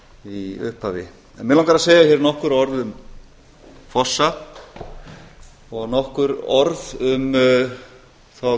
í upphafi mig langar að segja hér nokkur orð um fossa og nokkur orð um þá